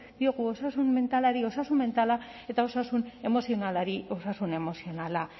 diogu osasun mentalari osasun mentala eta osasun emozionalari osasun emozionala